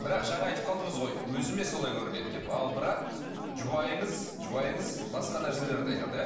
бірақ жаңа айтып қалдыңыз ғой өзіме солай көрінеді деп ал бірақ жұбайыңыз жұбайыңыз басқа нәрселерді айтады иә